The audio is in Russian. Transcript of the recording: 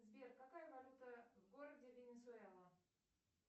сбер какая валюта в городе венесуэла